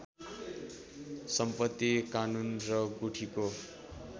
सम्पत्ति कानून र गुठीको